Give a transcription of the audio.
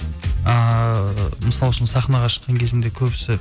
ыыы мысалы үшін сахнаға шыққан кезінде көбісі